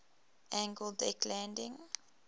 angled deck landing